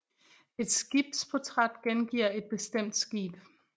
Et skibsportræt gengiver et bestemt skib